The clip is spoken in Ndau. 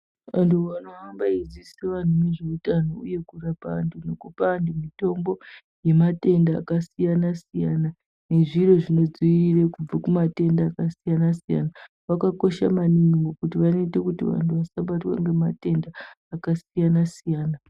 Anthu anohambe eidzidzise anthu ngezveutano uye kurapa anhu nekupa antu mitombo yematenda akasiyana-siyana nezviro zvinodziirire kubve kumatenda akasiyana-siyana vakakosha maningi ngekuti vanoita kuti vantu vasabatwa ngematenda akasiyana siyana.